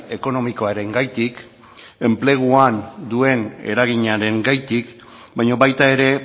ekonomikoarengatik enpleguan duen eraginarengatik baina baita ere